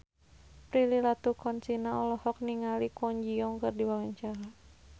Prilly Latuconsina olohok ningali Kwon Ji Yong keur diwawancara